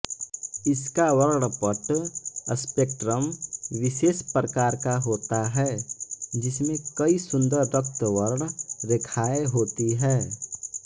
इसका वर्णपट स्पेक्ट्रम विशेष प्रकार का होता है जिसमें कई सुंदर रक्तवर्ण रेखाएँ होती हैं